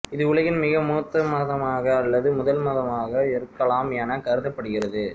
இது உலகின் மிக மூத்த மதமாக அல்லது முதல் மதமாக இருக்கலாம் என கருதப்படுகிறது